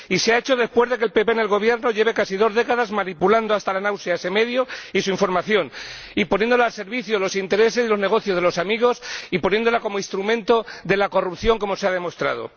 Y se ha hecho después de que el Partido Popular en el Gobierno lleve casi dos décadas manipulando hasta la náusea a ese medio y su información, poniéndola al servicio de los intereses de los negocios de los amigos y sirviéndose de ella como instrumento de corrupción, como se ha demostrado.